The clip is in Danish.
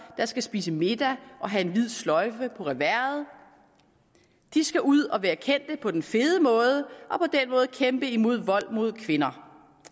der skal spise middag og have en hvid sløjfe på reverset de skal ud at være kendte på den fede måde kæmpe mod vold mod kvinder